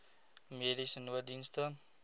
mediese nooddienste